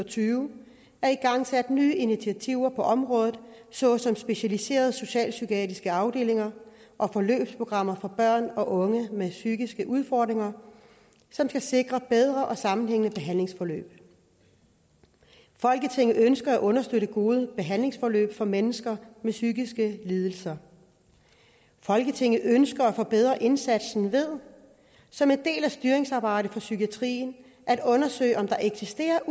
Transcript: tyve er igangsat nye initiativer på området såsom specialiserede socialpsykiatriske afdelinger og forløbsprogrammer for børn og unge med psykiske udfordringer som skal sikre bedre og sammenhængende behandlingsforløb folketinget ønsker at understøtte gode behandlingsforløb for mennesker med psykiske lidelser folketinget ønsker at forbedre indsatsen ved som en del af styringsarbejdet for psykiatrien at undersøge om der eksisterer